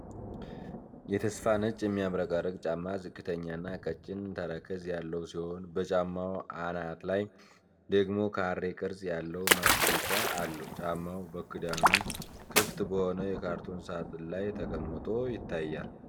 የተሰፋ ነጭ የሚያብረቀርቅ ጫማ ዝቅተኛና ቀጭን ተረከዝ ያለው ሲሆን፣ በጫማው አናት ላይ ደግሞ ካሬ ቅርጽ ያለው ማስጌጫ አለው። ጫማው በክዳኑ ክፍት በሆነ የካርቶን ሣጥን ላይ ተቀምጦ ይታያል።